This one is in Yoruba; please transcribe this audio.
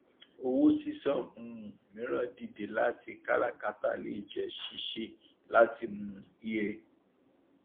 owó ṣíṣan um mìíràn dìde láti kárakátà lè jẹ ṣíṣe láti um ie